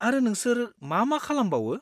आरो नोंसोर मा मा खालामबावो?